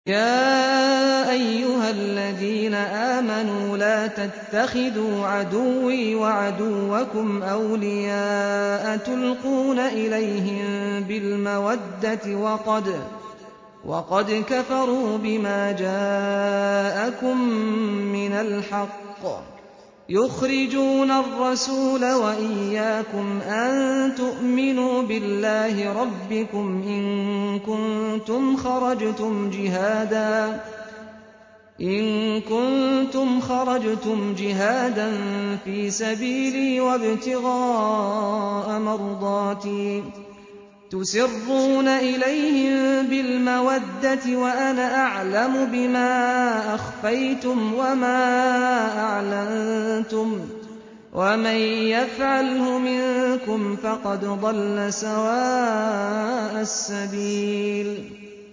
يَا أَيُّهَا الَّذِينَ آمَنُوا لَا تَتَّخِذُوا عَدُوِّي وَعَدُوَّكُمْ أَوْلِيَاءَ تُلْقُونَ إِلَيْهِم بِالْمَوَدَّةِ وَقَدْ كَفَرُوا بِمَا جَاءَكُم مِّنَ الْحَقِّ يُخْرِجُونَ الرَّسُولَ وَإِيَّاكُمْ ۙ أَن تُؤْمِنُوا بِاللَّهِ رَبِّكُمْ إِن كُنتُمْ خَرَجْتُمْ جِهَادًا فِي سَبِيلِي وَابْتِغَاءَ مَرْضَاتِي ۚ تُسِرُّونَ إِلَيْهِم بِالْمَوَدَّةِ وَأَنَا أَعْلَمُ بِمَا أَخْفَيْتُمْ وَمَا أَعْلَنتُمْ ۚ وَمَن يَفْعَلْهُ مِنكُمْ فَقَدْ ضَلَّ سَوَاءَ السَّبِيلِ